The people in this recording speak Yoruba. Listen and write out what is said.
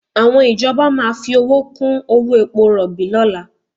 Àwọn ìjọba máa fi owó kú owó epo rọ̀bì lọ́la